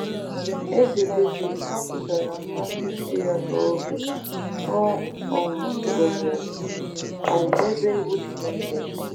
Eze Devid kwupụtara mmasị si ya n’obi o um nwere um n’ebe iwu Chineke dị